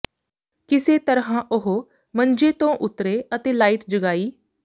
ਕਿਸੇ ਤਰ੍ਹਾਂ ਉਹ ਮੰਜੇ ਤੋਂ ਉਤਰੇ ਅਤੇ ਲਾਈਟ ਜਗਾਈ